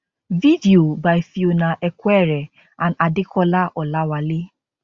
video by fiona equere and adekola olawale